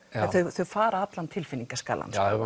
þau fara allan tilfinningaskalann já